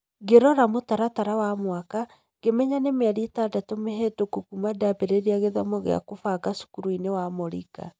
Ngĩrora mũtaratara wa mwaka, ngĩmenya nĩ mĩeri ĩtandatũ mĩhĩtũku kuuma ndambĩrĩirie gĩthomo gĩa kubanga cukuru-inĩ ya Moringa